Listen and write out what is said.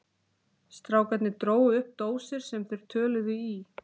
Strákarnir drógu upp dósir sem þeir töluðu í.